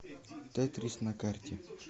тетрис на карте